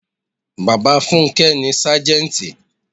Bàbá funke ni Sájẹ́ntì.